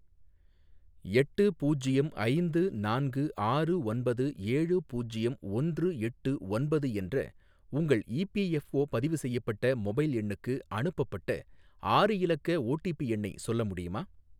எட்டு பூஜ்யம் ஐந்து நான்கு ஆறு ஒன்பது ஏழு பூஜ்யம் ஒன்று எட்டு ஒன்பது என்ற உங்கள் இபிஎஃப்ஓ பதிவு செய்யப்பட்ட மொபைல் எண்ணுக்கு அனுப்பப்பட்ட ஆறு இலக்க ஓடிபி எண்ணை சொல்ல முடியுமா